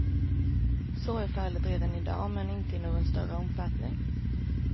Så är fallet redan i dag, men inte i någon större omfattning.